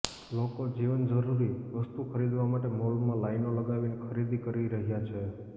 લોકો જીવન જરૂરિ વસ્તુ ખરીદવા માટે મોલમાં લાઇનો લગાવીને ખરીદી કરી રહ્યા છે